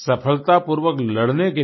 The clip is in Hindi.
सफलतापूर्वक लड़ने के लिए